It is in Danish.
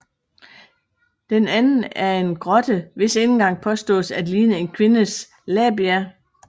Den anden er en grotte hvis indgang påstås at ligne en kvindes labia